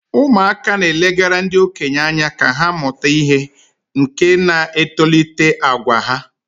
ụmụaka na-elegara ndị okenye anya ka ha mụta ihe, nke na-etolite àgwà ha